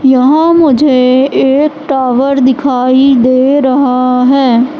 यहां मुझे एक टावर दिखाई दे रहा है।